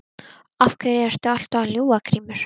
Af hverju ertu alltaf að ljúga Grímur?